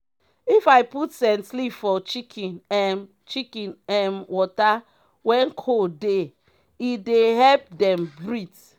if u put scent leaf for chicken um chicken um water when cold dey e dey epp dem breath.